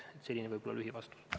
Jüri Jaanson, palun!